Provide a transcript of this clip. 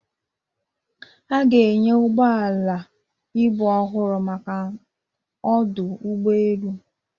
A ga-enye ụgbọ ala ibu ọhụrụ maka ọdụ ụgbọ elu